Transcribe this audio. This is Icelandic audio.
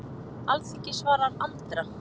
Alþingi svarar Andra